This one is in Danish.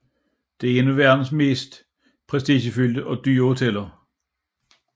Det er et af verdens mest prestigefyldte og dyre hoteller